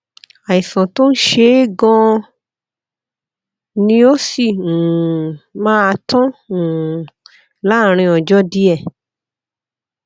àìsàn tó ń ṣe é ganan ni ó sì um máa tán um láàárín ọjọ díẹ